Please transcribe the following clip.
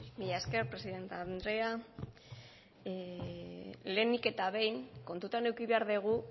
mila esker presidente andrea lehenik eta behin kontutan eduki behar dugu